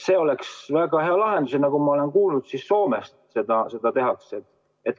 See oleks väga hea lahendus ja nagu ma olen kuulnud, Soomes seda tehakse.